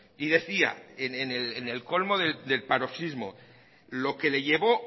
y decía en el colmo del paroxismo lo que le llevó